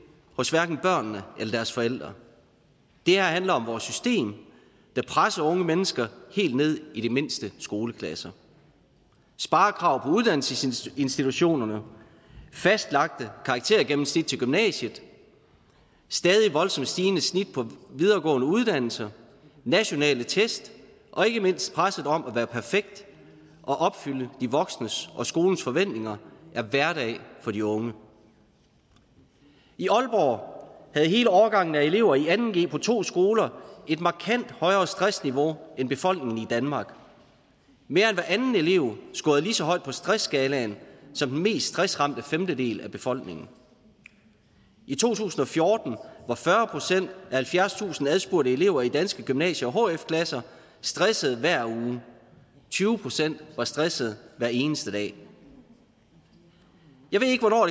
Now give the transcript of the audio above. hos børnene eller deres forældre det her handler om vores system der presser unge mennesker helt ned i de mindste skoleklasser sparekrav på uddannelsesinstitutionerne fastlagte karaktergennemsnit til gymnasiet et stadig voldsomt stigende snit på videregående uddannelser nationale test og ikke mindst presset om at være perfekt og opfylde de voksnes og skolens forventninger er hverdag for de unge i aalborg havde hele årgangen af elever i anden g på to skoler et markant højere stressniveau end befolkningen i danmark mere end hver anden elev scorede lige så højt på stressskalaen som den mest stressramte femtedel af befolkningen i to tusind og fjorten var fyrre procent af halvfjerdstusind adspurgte elever i danske gymnasie og hf klasser stresset hver uge tyve procent var stresset hver eneste dag jeg ved ikke hvornår